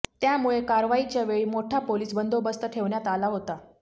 त्यामुळे कारवाईच्या वेळी मोठा पोलीस बंदोबस्त ठेवण्यात आला होता